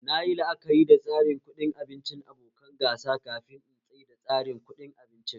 Nayi la'akari da tsarin kuɗi abincin abokan gasa kafin in tsaida tsarin kuɗin abincin